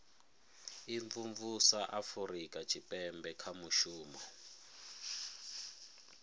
imvumvusa afurika tshipembe kha mushumo